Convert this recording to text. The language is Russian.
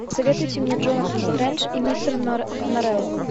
посоветуйте мне джонатан стрендж и мистер норрелл